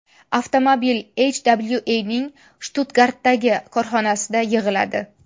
Avtomobil HWA’ning Shtutgartdagi korxonasida yig‘iladi.